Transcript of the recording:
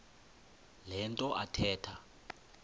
le nto athetha